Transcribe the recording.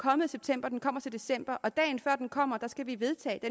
kommet i september og den kommer så til december og dagen før den kommer skal vi vedtage det